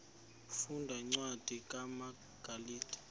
funda cwadi kumagalati